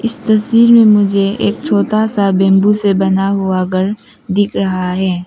इस तस्वीर मुझे एक छोटा सा विंडो से बना हुआ घर दिख रहा है।